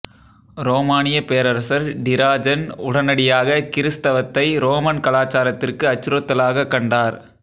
ரோமானிய பேரரசர் டிராஜன் உடனடியாக கிறிஸ்தவத்தை ரோமன் கலாச்சாரத்திற்கு அச்சுறுத்தலாகக் கண்டார்